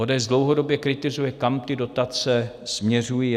ODS dlouhodobě kritizuje, kam ty dotace směřují.